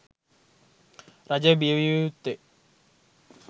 රජය බිය විය යුත්තේ